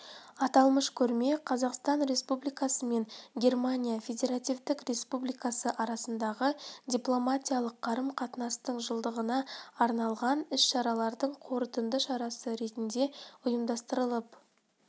аталмыш көрме қазақстан республикасы мен германия федеративтік республикасы арасындағы дипломатиялық қарым-қатынастың жылдығына арналған іс-шаралардың қорытынды шарасы ретінде ұйымдастырылып